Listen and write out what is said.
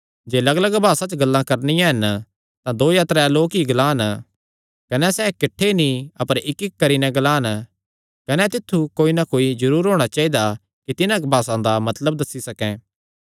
जे लग्गलग्ग भासा च गल्लां करणियां हन तां दो या त्रै लोक ई ग्लान कने सैह़ किठ्ठे नीं अपर इक्कइक्क करी नैं ग्लान कने तित्थु कोई ना कोई जरूर होणा चाइदा कि तिन्हां भासां दा मतलब दस्सी सकैं